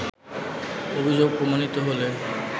“অভিযোগ প্রমাণিত হলে